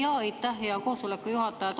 Aitäh, hea koosoleku juhataja!